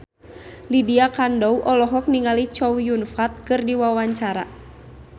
Lydia Kandou olohok ningali Chow Yun Fat keur diwawancara